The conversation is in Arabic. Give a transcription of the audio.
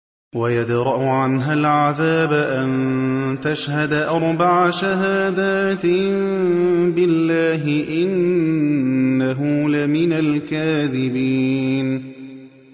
وَيَدْرَأُ عَنْهَا الْعَذَابَ أَن تَشْهَدَ أَرْبَعَ شَهَادَاتٍ بِاللَّهِ ۙ إِنَّهُ لَمِنَ الْكَاذِبِينَ